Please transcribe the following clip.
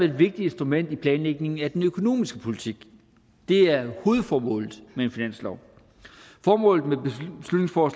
et vigtigt instrument i planlægningen af den økonomiske politik det er hovedformålet med en finanslov formålet